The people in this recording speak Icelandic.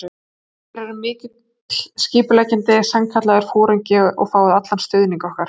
Þér eruð mikill skipuleggjandi, sannkallaður foringi og fáið allan stuðning okkar.